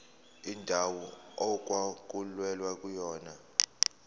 indawo okwakulwelwa kuyona